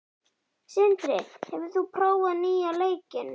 Sindri, hefur þú prófað nýja leikinn?